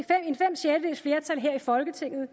et flertal her i folketinget